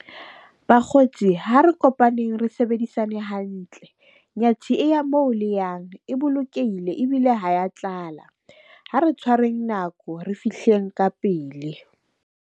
Bakgotsi, ha re kopaneng re sebedisane hantle. Nyathi e ya moo le yang e bolokehile ebile ha ya tlala. Ha re tshwareng nako re fihleng ka pele.